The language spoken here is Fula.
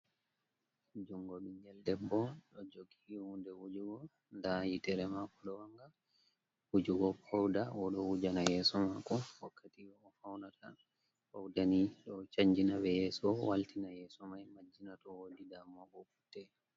Jungo binjel debbo ɗ o jogi wunde wujugo nda yi terema bo ɗo wanga wujugo pouda oɗo wujana yeso mako wakkatiw o faunata, paudani ɗo chanjina be yeeso waltina ɓe yeso mai majjina to wodi damuwa putte.